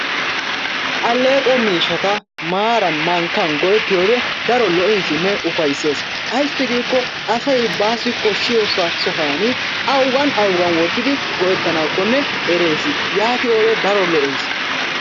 Alleeqo miishshata maaran mankkan go'ettiyode keehi daro lo'eesinne ufayssees. Ayssi giikko asay baassi koshshiya sohuwani awuga awugan wottidi go'ettanaakkonne erees. Yaatiyode daro lo'eesi.